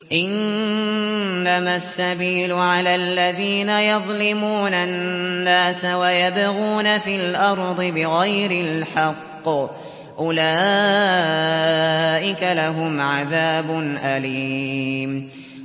إِنَّمَا السَّبِيلُ عَلَى الَّذِينَ يَظْلِمُونَ النَّاسَ وَيَبْغُونَ فِي الْأَرْضِ بِغَيْرِ الْحَقِّ ۚ أُولَٰئِكَ لَهُمْ عَذَابٌ أَلِيمٌ